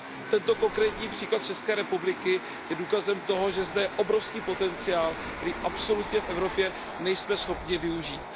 Tento konkrétní příklad z České republiky je důkazem toho, že je zde obrovský potenciál, který absolutně v Evropě nejsme schopni využít.